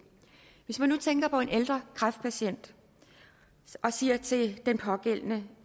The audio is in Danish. hvis man nu tænker på en ældre kræftpatient og siger til den pågældende